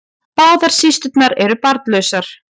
Báðar systurnar eru barnlausar